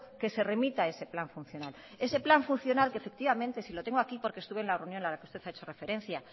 que se remita ese plan funcional ese plan funcional que efectivamente si lo tengo aquí porque estuvo en la reunión a la que usted ha hecho referencia